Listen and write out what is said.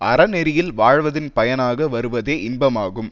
அறநெறியில் வாழ்வதன் பயனாக வருவதே இன்பமாகும்